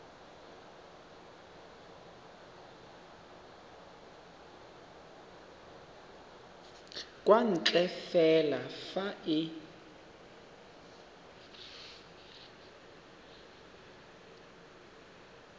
kwa ntle fela fa e